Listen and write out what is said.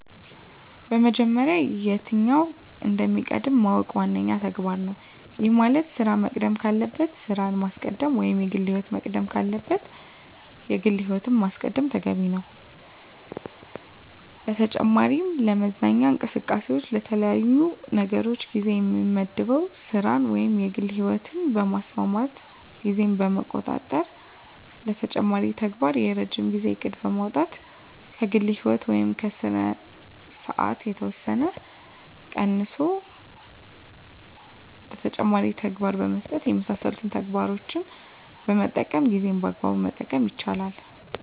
በመጀመሪያ የትኛው እንደሚቀድም ማወቅ ዋነኛው ተግባር ነው። ይህ ማለት ስራ መቅደም ካለበት ስራን ማስቀደም ወይም የግል ህይወት መቅደም ካለበት የግል ህይወትን ማስቀደም ተገቢ ነው። በተጨማሪ ለመዝናኛ እንቅስቃሴዎች ለተለያዩ ነገሮች ጊዜ የምመድበው ስራን ወይም የግል ህይወትን በማስማማት ጊዜን በመቆጣጠር ለተጨማሪ ተግባር የረጅም ጊዜ እቅድ በማውጣት ከግል ህይወት ወይም ከስራ ሰዓት የተወሰነ ጊዜ ቀንሶ ለተጨማሪ ተግባር በመስጠት የመሳሰሉትን ተግባሮችን በመጠቀም ጊዜን በአግባቡ መጠቀም ይቻላል።